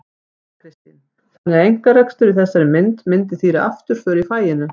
Þóra Kristín: Þannig að einkarekstur í þessari mynd myndi þýða afturför í faginu?